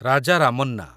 Raja Ramana